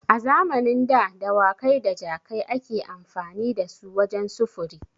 A zamanin da dawakai da jakai ake amfani dasu wajen sufuri.